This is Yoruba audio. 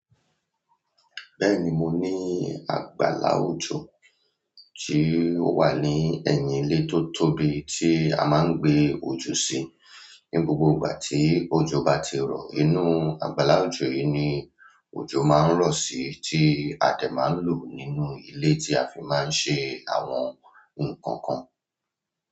Bẹ́ẹ̀ni, mo ní àgbàlá òjò tí ó wà ní ẹ̀yìn ilé tó tóbi tí a máa ń gbé òjò sí. Ni gbogbo ìgbà tí òjò bá ti rọ̀, inú àgbàlá òjò yìí ni òjò máa ń rọ̀ sí tí a dẹ̀ máa ń lò nínú ilé tí a fi máa ń ṣe àwọn nǹkan kan.